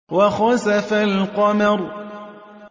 وَخَسَفَ الْقَمَرُ